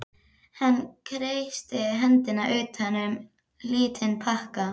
Hann kreisti hendina utan um lítinn pakka.